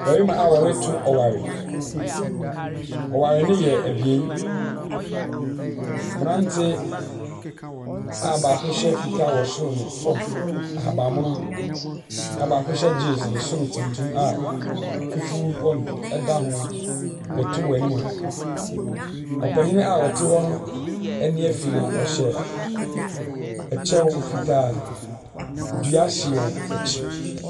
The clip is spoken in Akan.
Mmarima a wɔreto ɔware. Ɔware no yɛ abien. Mmerante a baako hyɛ fitaa wɔ soro ne fam, ahaban mono, na baako hyɛ jeans ne soro tuntum a fufuo wɔ n ɛda ho reto wɔ anim ha. Ɔpanin a ɔte hɔ no ani fi na ɔhyɛ kyɛw fitaa. Dua si wɔn akyi.